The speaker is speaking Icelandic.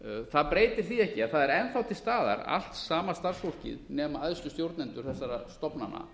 það breytir því ekki að það er enn þá til staðar allt sama starfsfólkið nema æðstu stjórnendur þessara stofnana